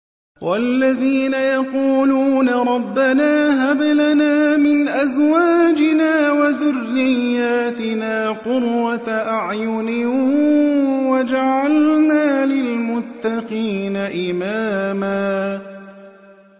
وَالَّذِينَ يَقُولُونَ رَبَّنَا هَبْ لَنَا مِنْ أَزْوَاجِنَا وَذُرِّيَّاتِنَا قُرَّةَ أَعْيُنٍ وَاجْعَلْنَا لِلْمُتَّقِينَ إِمَامًا